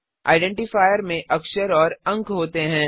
identifier में अक्षर और अंक होते हैं